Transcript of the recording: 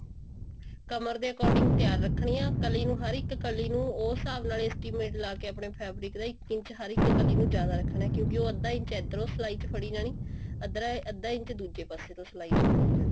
ਕਮਰ ਦੇ according ਤਿਆਰ ਰੱਖਣੀ ਹੈ ਕਲੀ ਨੂੰ ਹਰ ਇੱਕ ਕਲੀ ਨੂੰ ਉਸ ਹਿਸਾਬ ਨਾਲ estimate ਲਾਕੇ ਆਪਣੇ fabric ਦਾ ਇੱਕ ਇੰਚ ਹਰ ਇੱਕ ਕਲੀ ਨੂੰ ਜਿਆਦਾ ਰੱਖਣਾ ਕਿਉਂਕਿ ਉਹ ਅੱਧਾ ਇੰਚ ਇੱਧਰੋ ਸਿਲਾਈ ਚ ਫੜੀ ਜਾਣੀ ਅੱਧਾ ਇੰਚ ਦੂਜੇ ਪਾਸੇ ਤੋਂ ਸਿਲਾਈ ਚ ਫੜੀ ਜਾਣੀ